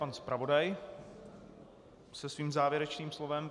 Pan zpravodaj se svým závěrečným slovem.